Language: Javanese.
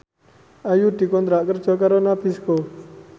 Ayu dikontrak kerja karo Nabisco